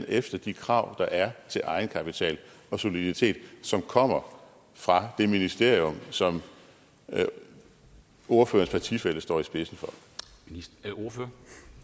efter de krav der er til egenkapital og soliditet som kommer fra det ministerium som ordførerens partifælle står i spidsen for